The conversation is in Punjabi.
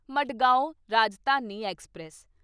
ਮਡਗਾਓਂ ਰਾਜਧਾਨੀ ਐਕਸਪ੍ਰੈਸ